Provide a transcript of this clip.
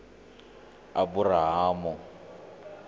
aburahamu